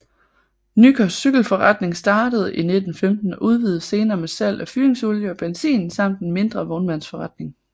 Nyker Cykelforretning startede i 1915 og udvidede senere med salg af fyringsolie og benzin samt en mindre vognmandsforretning